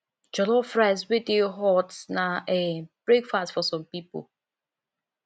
jollof rice wey dey hot na um breakfast for some pipo